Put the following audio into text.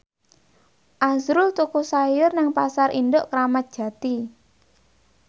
azrul tuku sayur nang Pasar Induk Kramat Jati